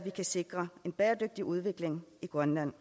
kan sikre en bæredygtig udvikling i grønland